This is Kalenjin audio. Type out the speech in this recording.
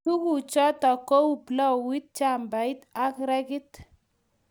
Tuguk chotok kou plauit jembet ak rekit